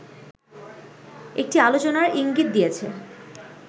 একটি আলোচনার ইঙ্গিত দিয়েছে